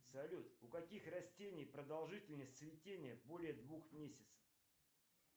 салют у каких растений продолжительность цветения более двух месяцев